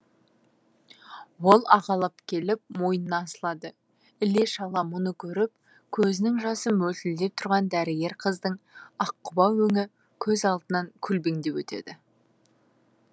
ол ағалап келіп мойнына асылады іле шала мұны көріп көзінің жасы мөлтілдеп тұрған дәрігер қыздың ақ құба өңі көз алдынан көлбеңдеп өтеді